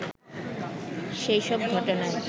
সেই সব ঘটনায়